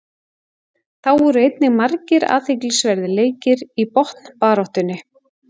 Þá voru einnig margir athyglisverðir leikir í botnbaráttunni.